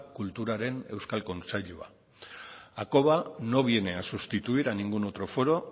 kulturaren euskal kontseilua hakoba no viene a sustituir a ningún otro foro